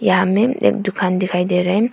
सामने एक दुकान दिखाई दे रहा हैं।